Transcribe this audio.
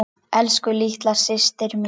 Elsku, litla systir mín.